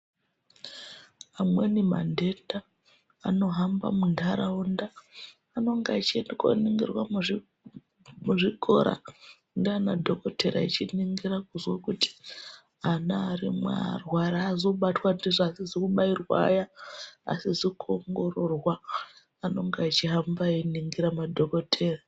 Amweni mandenda anohamba muntaraunda anonga echienda koningirwa muzvikora ndiana dhokodheya echiningira kuzwa kuti ana arimwo arwari aazi kubatwa ndizvo asizi kubairwa aya, asizi kuongororwa anonga eichihamba einingirwa madhokoteya.